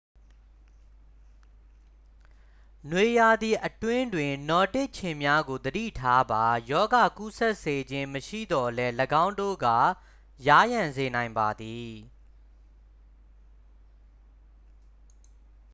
နွေရာသီအတွင်းတွင် နောဒစ်ခြင်များကို သတိထားပါ ရောဂါကူးစက်စေခြင်း မရှိသော်လည်း ၎င်းတို့က ယားယံစေနိုင်ပါသည်